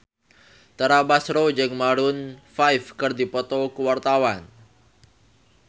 Tara Basro jeung Maroon 5 keur dipoto ku wartawan